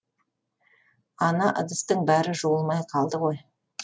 ана ыдыстың бәрі жуылмай қалды ғой